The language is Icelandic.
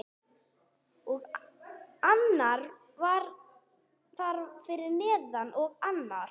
Og annar þar fyrir neðan. og annar.